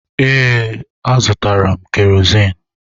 Ee, azụtara m kerozin.